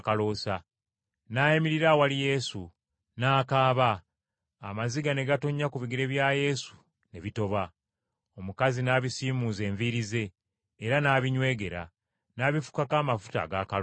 N’ayimirira awali Yesu, n’akaaba, amaziga ne gatonnya ku bigere bya Yesu ne bitoba. Omukazi n’abisiimuuza enviiri ze, era n’abinywegera; n’abifukako amafuta ag’akaloosa.